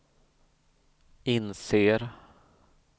inser